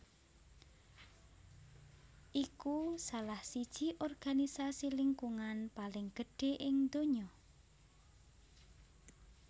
iku salah siji organisasi lingkungan paling gedhé ing donya